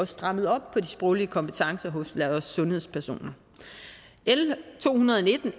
strammede op på de sproglige kompetencer hos sundhedspersoner l to hundrede og nitten